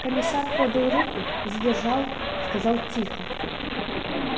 комиссар подал руку задержал сказал тихо